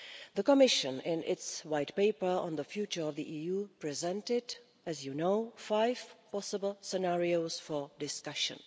The Commission in its White Paper on the future of the EU presented, as you know, five possible scenarios for discussion.